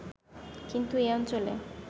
কিন্তু এ অঞ্চলে